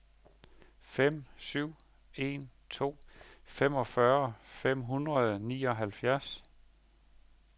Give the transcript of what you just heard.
fem syv en to femogfyrre fem hundrede og nioghalvfjerds